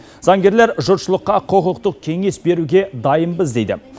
заңгерлер жұртшылыққа құқықтық кеңес беруге дайынбыз дейді